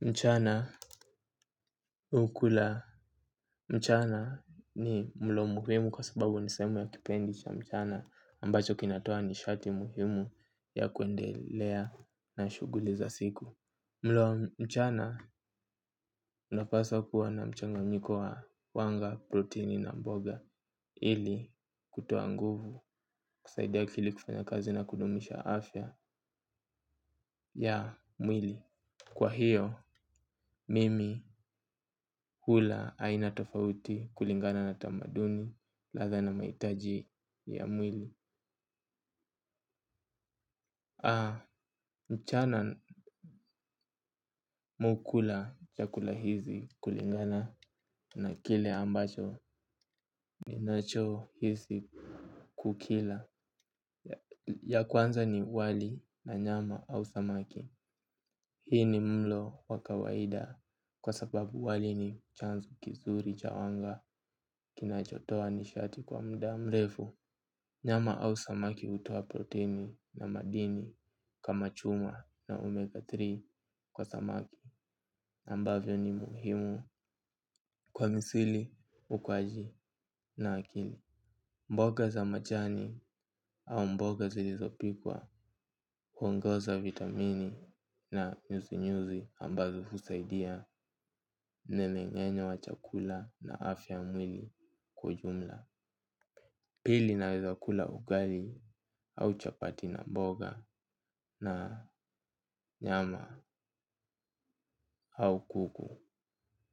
Mchana ukula mchana ni mlo muhimu kwa sababu ni sehemu ya kipindi cha mchana ambacho kinatoa nishati muhimu ya kuendelea na shughuli za siku. Mlo mchana unapaswa kuwa na mchanganyiko wa wanga, protini na mboga ili kutoa nguvu kusaidia akili kufanya kazi na kudumisha afya ya mwili. Kwa hiyo mimi hula aina tofauti kulingana na tamaduni ladha na mahitaji ya mwili. Mchana mimi hukula chakula hizi kulingana na kile ambacho ni nacho hizi kukila. Ya kwanza ni wali na nyama au samaki. Hii ni mlo wa kawaida kwa sababu wali ni chanzu kizuri cha anga kinachotoa nishati kwa muda mrefu. Nyama au samaki hutoa protini na madini kama chuma na omega tatu kwa samaki ambavyo ni muhimu kwa misuli ukwaji na akini. Mboga za majani au mboga zilizopikwa kwa ngoza vitamini na nyuzi nyuzi ambazo husaidia nemengenya wa chakula na afya mwili kwa ujumla. Pili naweza kula ugali au chapati na mboga na nyama au kuku.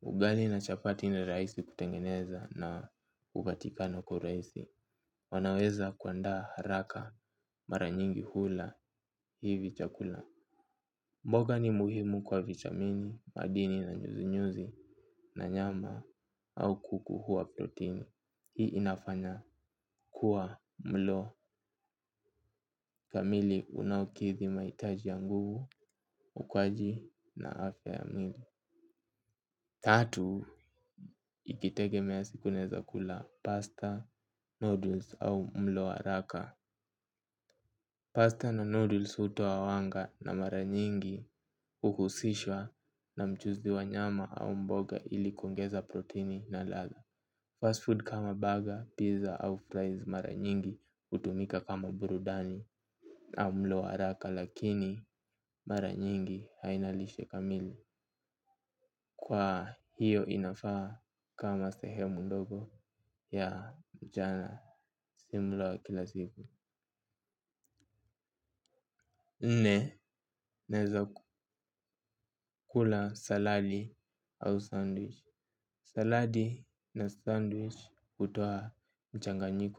Ugali na chapati ni rahisi kutengeneza na hupatikana kwa urahisi. Wanaweza kuandaa haraka mara nyingi kula hivi chakula. Mboga ni muhimu kwa vitamini madini na nyuzi nyuzi na nyama au kuku huwa protini. Hii inafanya kuwa mlo kamili unaukidhi mahitaji ya nguvu ukwaji na afya ya mwili. Tatu ikitegemea siku naweza kula pasta au greens au mlo wa haraka Pasta na noodles hutoa wanga na mara nyingi huhusishwa na mchuzi wa nyama au mboga ili kuongeza protini na ladha. Fast food kama burger, pizza au fries mara nyingi hutumika kama burudani au mlo wa haraka lakini mara nyingi haina nishe kamili. Kwa hiyo inafaa kama sehemu ndogo ya mchana si mloa wa kila siku naweza kula salami au na noodle's hutoa mchnagami.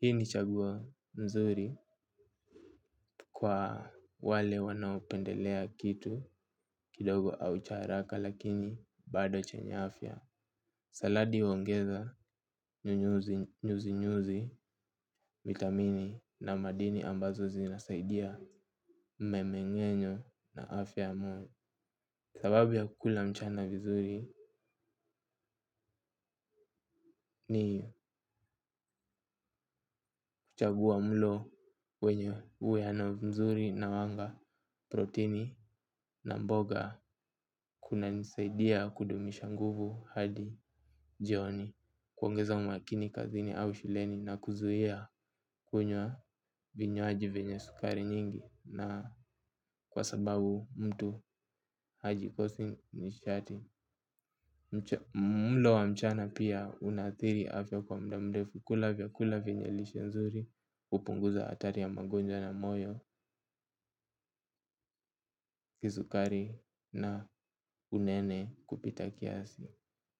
Hii ni chaguo mzuri kwa wale wanaopendelea kitu kidogo au cha haraka lakini bado chenye afya. Saladi waongeza nyuzi nyuzi vitamini na madini ambazo zinasaidia memenye nyo na afya mwenye. Sababu ya kukula mchana vizuri ni kuchagua mlo wenye uweana mzuri na wanga protini na mboga kuna nisaidia kudumisha nguvu hadi jioni. Kuongeza umakini kazini au shuleni na kuzuia kunywa vinywaji venya sukari nyingi na kwa sababu mtu hajikosi nishati. Mulo wa mchana pia unaathiri afya kwa muda mrefu. Kula vyakula vyenye lishe nzuri hupunguza hatari ya magonjwa na moyo. Kisukari na unene kupita kiasi.